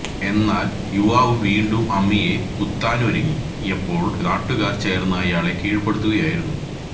എന്നാൽ യുവാവ് വീണ്ടും അമ്മയെ കുത്താനൊരുങ്ങിയപ്പോൾ നാട്ടുകാർ ചേർന്ന് ഇയാളെ കീഴ്പ്പെടുത്തുകയായിരുന്നു